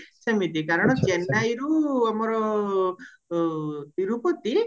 ସେମିତି କାରଣ ଚେନ୍ନାଇରୁ ଆମର ତିରୁପତି